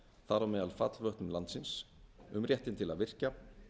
þar á meðal fallvötnum landsins um réttinn til að virkja